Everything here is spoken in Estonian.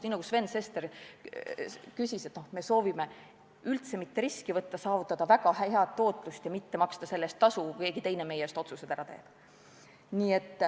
Nii nagu Sven Sester küsis, kas me soovime üldse mitte riski võtta ja saavutada väga head tootlust ja mitte maksta selle eest tasu, kui keegi teine meie eest otsused ära teeb.